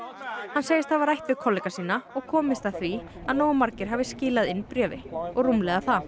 hann segist hafa rædd við kollega sína og komist að því að nógu margir hafi skilað inn bréfi og rúmlega það